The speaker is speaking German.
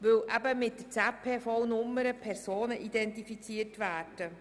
Die ZPV-Nummer identifiziert Personen.